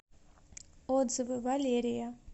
отзывы валерия